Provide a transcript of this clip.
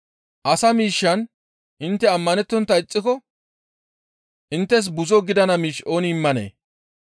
Asa miishshan intte ammanettontta ixxiko inttes buzo gidana miish ooni immanee?